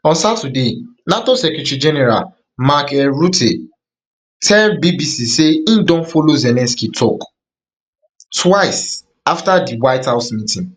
on saturday nato secretary general mark um rutte tell bbc say im don follow zelensky tok twice afta di white house meeting